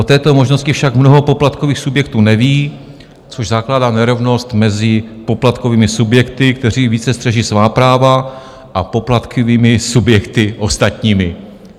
O této možnosti však mnoho poplatkových subjektů neví, což zakládá nerovnost mezi poplatkovými subjekty, kteří více střeží svá práva, a poplatkovými subjekty ostatními.